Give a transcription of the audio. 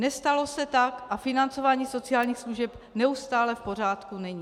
Nestalo se tak a financování sociálních služeb neustále v pořádku není.